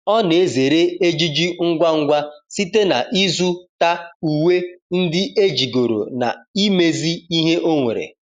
ọ na ezere ejiji ngwa ngwa site na izu ta uwe ndi ejigoro na imezi ihe onwere